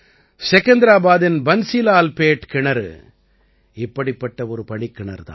செகந்தராபாதின் Bansilalpet கிணறு இப்படிப்பட்ட ஒரு படிக்கிணறு தான்